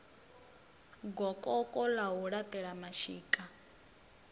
gokoko ḽa u laṱela mashika